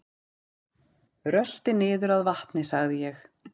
Rölti niður að vatni sagði ég.